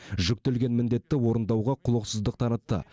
жүктелген міндетті орындауға құлықсыздық таратты